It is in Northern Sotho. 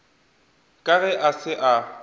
ka ge a se a